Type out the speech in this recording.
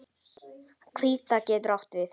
Hvítá getur átt við